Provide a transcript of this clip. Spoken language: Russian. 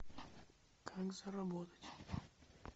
как заработать